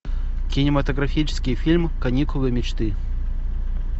кинематографический фильм каникулы мечты